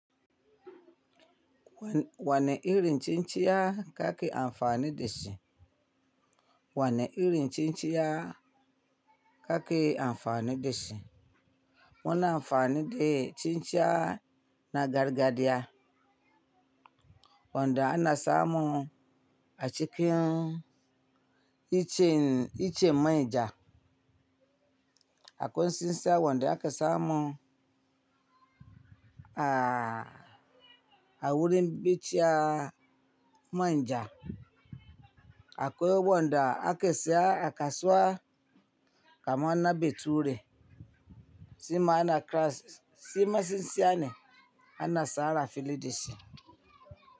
Wane irin cin ciya ka ke amfani da shi? Wane irin cin ciya ka ke amfani da shi? Muna amfani da cin ciya na gargajiya, wanda ana samun a cikin iccen manja. Akwai tsinsiya wanda ake samu a wurin bishiyaa manja. Akwai wanda ake siya kasuwa kamar na bature, shi ma cinciya ne ana shara fili da shi.